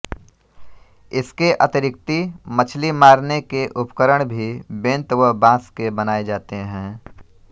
इसके अतिरिक्ति मछली मारने के उपकरण भी बेंत व बाँस के बनाए जाते हैं